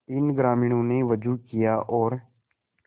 इन ग्रामीणों ने भी वजू किया और